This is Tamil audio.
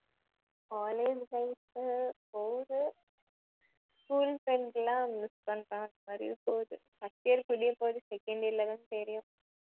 college life உ போகுது school friends எல்லாம் miss பண்ற மாதிரி போகுது first year முடியபோது second year லதான் தெரியும்